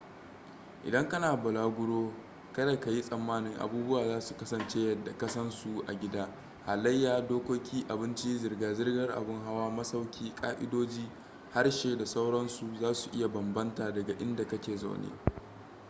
idan kana bulaguro kada ka yi tsammani abubuwa za su kasance yadda ka san su a gida halayya dokoki abinci zirga-zirgar abin hawa masauki ƙa'idodi harshe da sauransu za su iya bambanta daga inda ka ke zaune